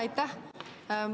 Aitäh!